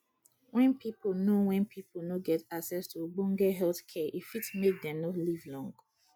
when pipo no when pipo no get access to ogbone health care e fit make dem no dey live long